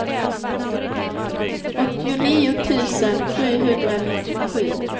åttionio tusen sjuhundranittiosju